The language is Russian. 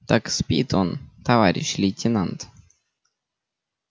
так спит он товарищ лейтенант